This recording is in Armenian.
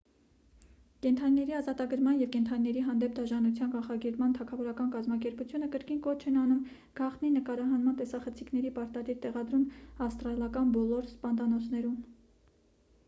կենդանիների ազատագրման և կենդանիների հանդեպ դաժանության կանխարգելման թագավորական կազմակերպությունը կրկին կոչ են անում գաղտնի նկարահանման տեսախցիկների պարտադիր տեղադրում ավստրալական բոլոր սպանդանոցներում